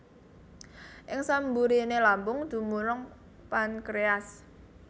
Ing samburiné lambung dumunung pankréas